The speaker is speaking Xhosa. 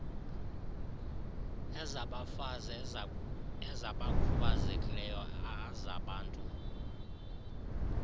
ezabafazi ezabakhubazekileyo azabantu